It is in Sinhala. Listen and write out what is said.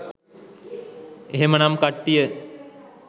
එහෙමනම් කට්ටිය